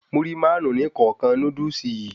Múrí Márùn-ún ní kọ̀ọ̀kan Núdúsì yìí